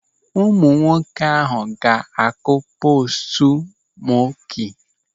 Ụmụ nwoke ahụ ga-akụ postu mọki.